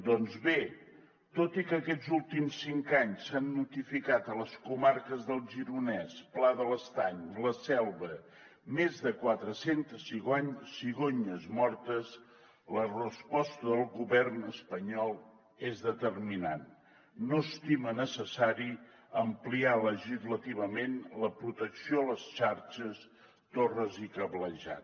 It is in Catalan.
doncs bé tot i que aquests últims cinc anys s’han notificat a les comarques del gironès pla de l’estany i la selva més de quatre centes cigonyes mortes la resposta del govern espanyol és determinant no estima necessari ampliar legislativament la protecció a les xarxes torres i cablejat